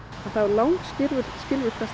þá er langskilvirkasta